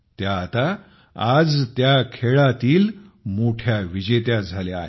त्या आता आज त्या खेळातील मोठ्या विजेत्या बनल्या आहेत